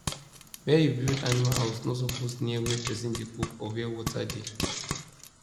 where you build animal house no suppose near where person dey cook or where water dey